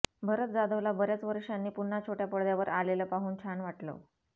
भरत जाधवला बऱ्याच वर्षांनी पुन्हा छोट्या पडद्यावर आलेलं पाहून छान वाटलं